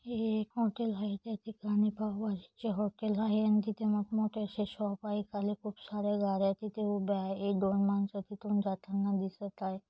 है एक हॉटेल आहै त्या ठिकाणी पाव भाजी च्या हॉटेल आहै आणि तिथे मोठ मोठ्या अशे शॉप आहै खाली खूप सार्‍या गाड्या तिथे उभे आहै एक दोन माणस तिथून जाताना दिसत आहै.